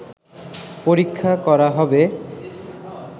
পরীক্ষা করা হবে